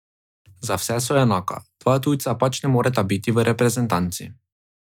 Za vse so enaka, dva tujca pač ne moreta biti v reprezentanci.